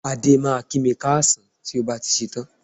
Adé máa kí mi káàsán tó bá ti ṣetán